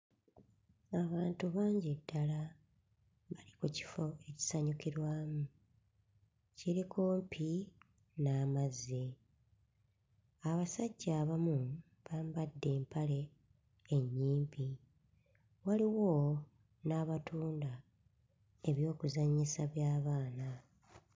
Abantu bangi ddala mu kifo ekisanyukirwamu kiri kumpi n'amazzi. Abasajja abamu bambadde empale ennyimpi waliwo n'abatunda eby'okuzannyisa by'abaana.